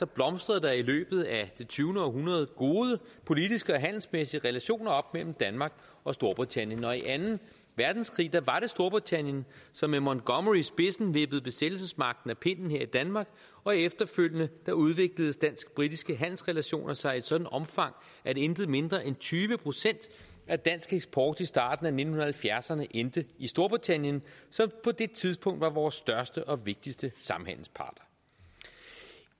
blomstrede der i løbet af det tyvende århundrede gode politiske og handelsmæssige relationer op mellem danmark og storbritannien og i anden verdenskrig var det storbritannien som med montgomery i spidsen vippede besættelsesmagten af pinden her i danmark og efterfølgende udviklede de dansk britiske handelsrelationer sig i et sådant omfang at intet mindre end tyve procent af dansk eksport i starten af nitten halvfjerdserne endte i storbritannien som på det tidspunkt var vores største og vigtigste samhandelspartner